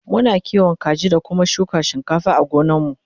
Muna kiwon kaji da Kuma shuka shinkafa a gonar mu